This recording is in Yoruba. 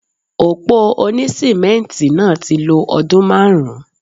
Òpó òní sìmẹ́ǹtì náà ti lo ọdún márùn-ún.